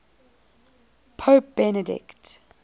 pope benedict